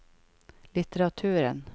litteraturen